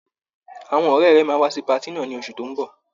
àwọn ọ̀rẹ́ rẹ máa wá sí patí náà ní oṣù tó ń bọ̀.